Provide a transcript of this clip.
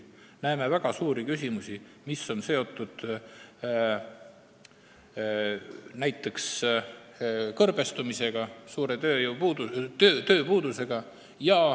Me näeme ka väga suuri küsimusi, mis on seotud näiteks kõrbestumise ja suure tööpuudusega.